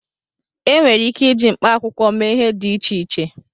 Enwere ike iji mkpaakwụkwọ mee ihe dị iche iche